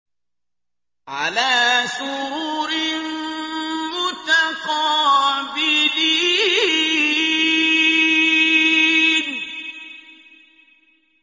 عَلَىٰ سُرُرٍ مُّتَقَابِلِينَ